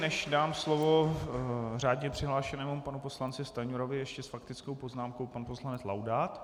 Než dám slovo řádně přihlášenému panu poslanci Stanjurovi, ještě s faktickou poznámkou pan poslanec Laudát.